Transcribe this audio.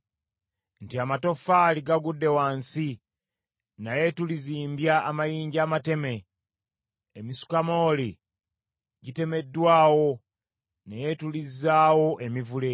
nti, “Amatoffaali gagudde wansi naye tulizimbya amayinja amateme, emisukamooli gitemeddwawo naye tulizzaawo emivule.”